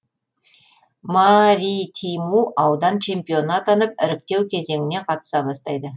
маритиму аудан чемпионы атанып іріктеу кезеңіне қатыса бастайды